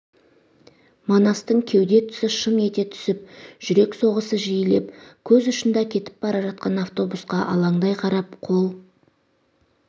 манастың кеуде тұсы шым ете түсіп жүрек соғысы жиілеп көз ұшында кетіп бара жатқан автобусқа алаңдай қарап қол